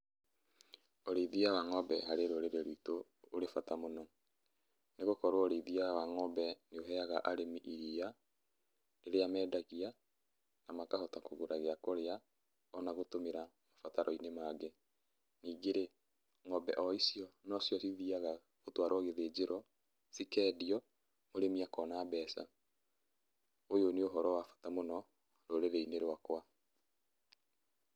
Ũrĩithia wa ng'ombe harĩ rũrĩrĩ rwitũ ũrĩ bata mũno, nĩgũkorwo ũrĩithia wa ng'ombe nĩ ũheaga arĩmi iria, rĩrĩa mendagia na makahota kũgũra gĩa kũrĩa ona gũtũmĩra mabataro-inĩ mangĩ. Ningĩ-rĩ, ng'ombe o icio nocio cithiaga gũtwarwo gĩthĩnjĩro, cikendio mũrĩmi akona mbeca. Ũyũ nĩ ũhoro wa bata mũno rũrĩrĩ-inĩ rwakwa.